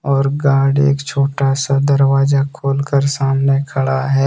और गार्ड एक छोटा-सा दरवाजा खोलकर सामने खड़ा है।